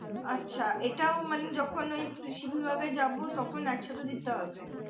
আচ্ছা এটাও মানে যখন ওই কৃষি বিভাগ এ যাবো তখন একসাথে দিতে হবে।